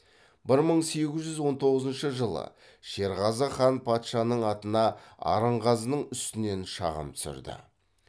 бір мың сегіз жүз он тоғызыншы жылы шерғазы хан патшаның атына арынғазының үстінен шағым түсірді